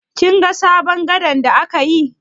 Kin ga sabon gada da aka yi?